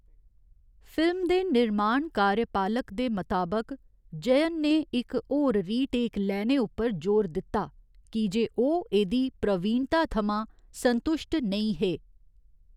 Film दे निर्माण कार्यपालक दे मताबक, जयन ने इक होर रीटेक लैने उप्पर जोर दित्ता की जे ओह् एह्दी प्रवीणता थमां संतुश्ट नेईं हे।